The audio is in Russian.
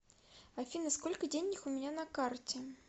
афина сколько денег у меня на карте